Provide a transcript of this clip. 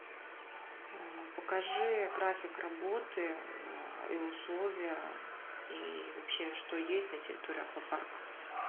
покажи график работы и условия и вообще что есть на территории аквапарка